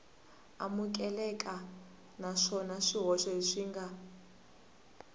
amukeleka naswona swihoxo leswi nga